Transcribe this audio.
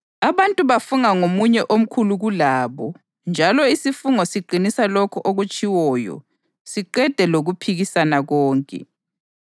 Abantu bafunga ngomunye omkhulu kulabo njalo isifungo siqinisa lokho okutshiwoyo siqede lokuphikisana konke.